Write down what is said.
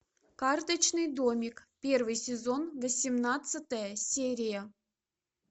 карточный домик первый сезон восемнадцатая серия